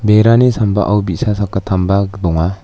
berani sambao bi·sa sakgittamba donga.